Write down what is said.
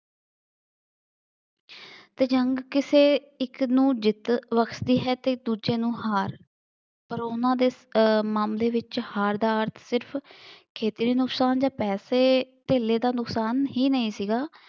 ਅਤੇ ਜੰਗ ਕਿਸੇ ਇੱਕ ਨੂੰ ਜਿੱਤ ਬਖਸ਼ਦੀ ਹੈ ਅਤੇ ਦੂਜੇ ਨੂੰ ਹਾਰ, ਪਰ ਉਹਨਾ ਦੇ ਮਨ ਦੇ ਵਿੱਚ ਹਾਰ ਦਾ ਅਰਥ ਸਿਰਫ ਖੇਤਰੀ ਨੁਕਸਾਨ ਜਾਂ ਪੈਸੇ ਧੇਲੇ ਦਾ ਨੁਕਸਾਨ ਹੀ ਨਹੀਂ ਸੀਗਾ